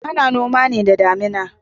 Ana noma ne da damuna.